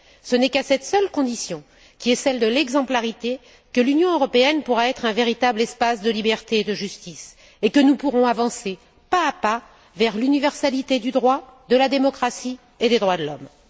Ce n'est qu'à cette seule condition, qui est celle de l'exemplarité, que l'Union européenne pourra être un véritable espace de liberté et de justice et que nous pourrons avancer pas à pas vers l'universalité du droit, de la démocratie et des droits de l'homme.